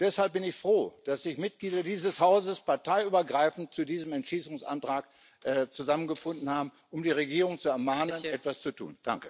Deshalb bin ich froh, dass sich Mitglieder dieses Hauses parteiübergreifend zu diesem Entschließungsantrag zusammengefunden haben, um die Regierung zu ermahnen, etwas zu tun.